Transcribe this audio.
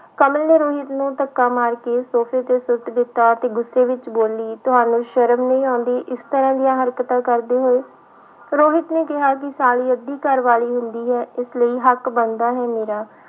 ਕਮਲ ਨੇ ਰੋਹਿਤ ਨੂੰ ਧੱਕਾ ਮਾਰ ਕੇ ਸੋਫ਼ੇ ਤੇ ਸੁੱਟ ਦਿੱਤਾ ਤੇ ਗੁੱਸੇ ਵਿੱਚ ਬੋਲੀ ਤੁਹਾਨੂੰ ਸ਼ਰਮ ਨਹੀਂ ਆਉਂਦੀ ਇਸ ਤਰ੍ਹਾਂ ਦੀਆਂ ਹਰਕਤਾਂ ਕਰਦੇ ਹੋਏ, ਰੋਹਿਤ ਨੇ ਕਿਹਾ ਕਿ ਸਾਲੀ ਅੱਧੀ ਘਰ ਵਾਲੀ ਹੁੰਦੀ ਹੈ, ਇਸ ਲਈ ਹੱਕ ਬਣਦਾ ਹੈ ਮੇਰਾ।